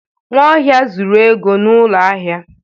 Nwaohia zuru ego n'ụlọ ahịa.